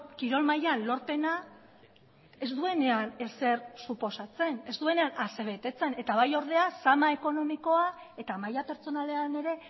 kirol mailan lorpena ez duenean ezer suposatzen ez duenean asebetetzen eta bai ordea zama ekonomikoa eta maila pertsonalean ere